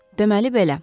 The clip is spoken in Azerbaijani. Deməli belə.